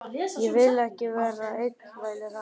Ég vil ekki vera einn, vælir hann.